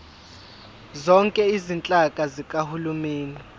zonke izinhlaka zikahulumeni